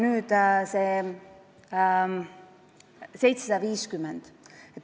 Nüüd sellest 750-st.